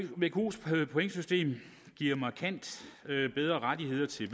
vkos pointsystem giver markant bedre rettigheder til